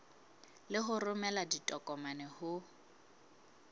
le ho romela ditokomane ho